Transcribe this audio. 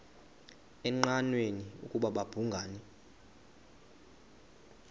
engqanweni ukuba babhungani